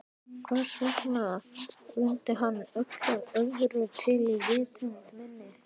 Hvers vegna ruddi hann öllu öðru til í vitund minni?